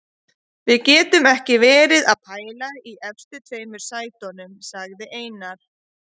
Við getum ekki verið að pæla í efstu tveim sætunum, sagði Einar.